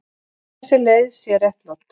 Þessi leið sé réttlát.